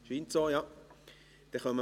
– Dies scheint so zu sein.